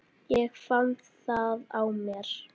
Ég fann það á mér.